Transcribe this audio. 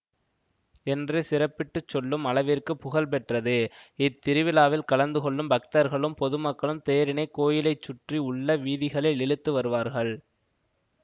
என்று சிறப்பிட்டுச்சொல்லும் அளவிற்கு புகழ் பெற்றது இத்திருவிழாவில் கலந்து கொள்ளும் பக்தர்களும் பொதுமக்களும் தேரினைக் கோயிலை சுற்றி உள்ள வீதிகளில் இழுத்து வருவார்கள்